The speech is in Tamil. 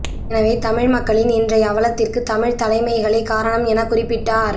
எனவே தமிழ் மக்களின் இன்றை அவலத்திற்கு தமிழ்த் தலைமைகளே காரணம் எனக் குறிப்பிட்டார்